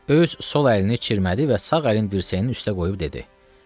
Öz sol əlini çirmədi və sağ əlin dirsəyin üstə qoyub dedi: